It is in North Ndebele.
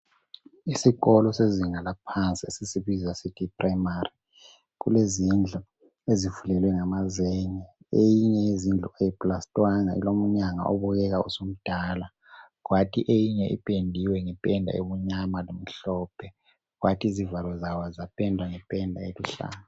Isikolo sezinga laphansi esisibiza sithi yiprimary kulezindlu ezifulelwe ngamazenge . Eyinye yezindlu ayiplastwanga ilomnyango obukeka usumdala kwathi eyinye ipendiwe ngependa emnyama lemhlophe kwathi izivalo zayo zapendwa ngependa eluhlaza.